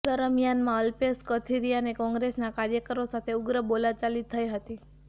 દરમિયાનમાં અલ્પેશ કથિરિયાને કોંગ્રેસના કાર્યકરો સાથે ઉગ્ર બોલાચાલી થઈ હતી